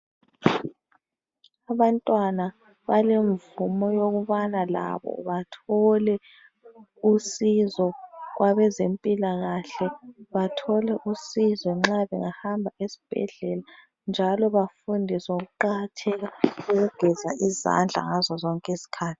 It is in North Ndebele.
Abantwana balemvumo yokubana labo bathole usizo kwabezempilakahle .Bathole usizo nxa bengahamba esbhedlela njalo bafundiswe ngokuqakatheka kokugeza izandla ngazo zonke izikhathi .